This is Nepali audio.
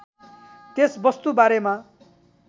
त्यस वस्तु बारेमा